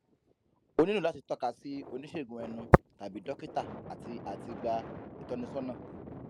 o nílò láti tọ́ka sí oníṣègùn ẹnu tàbí dọ́kítà àti àti gba ìtọ́nisọ́nà